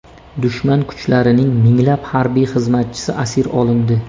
Dushman kuchlarining minglab harbiy xizmatchisi asir olindi.